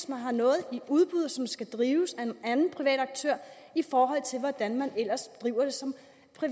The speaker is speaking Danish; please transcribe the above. man har noget i udbud som skal drives af en anden privat aktør i forhold til hvordan det ellers skal drives